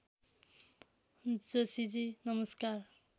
जोशीजी नमस्कार